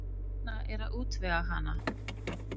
Hún Lína er að útvega hana.